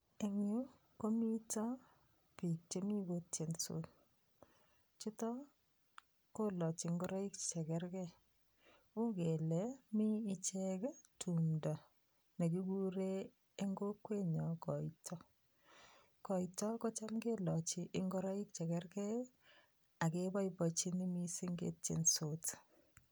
Eng' biik chemi kotyensot chuto kolochi ngoroik chekergei uu kele mi ichek tumdo nekikuren eng' kokwenyo koito komito kocham kelochi ngoroik chekergei akeboiboichini mising' ketiyensot